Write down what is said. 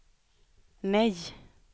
nej